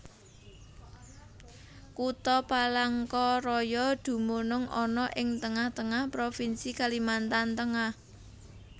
Kutha Palangka Raya dumunung ana ing tengah tengah Provinsi Kalimantan Tengah